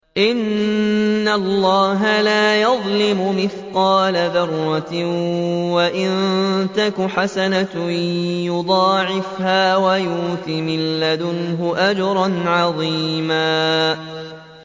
إِنَّ اللَّهَ لَا يَظْلِمُ مِثْقَالَ ذَرَّةٍ ۖ وَإِن تَكُ حَسَنَةً يُضَاعِفْهَا وَيُؤْتِ مِن لَّدُنْهُ أَجْرًا عَظِيمًا